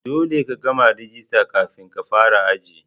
Dolle ka gama rajista kafin ka fara aji.